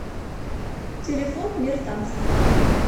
телефон мир танца